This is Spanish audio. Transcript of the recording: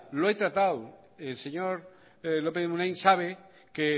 lo he tratado el señor lópez de munain sabe que he